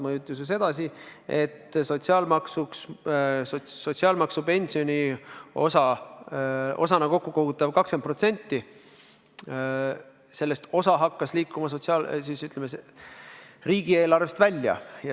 Mõjutas ju sedasi, et sotsiaalmaksu pensioniosana kokku kogutavast 20%-st osa hakkas liikuma, ütleme, riigieelarvest välja.